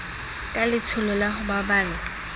ka letsholo la ho baballa